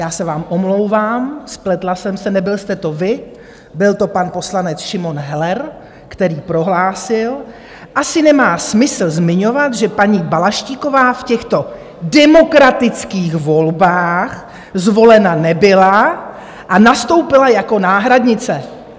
Já se vám omlouvám, spletla jsem se - nebyl jste to vy, byl to pan poslanec Šimon Heller, který prohlásil: "Asi nemá smysl zmiňovat, že paní Balaštíková v těchto demokratických volbách zvolena nebyla a nastoupila jako náhradnice."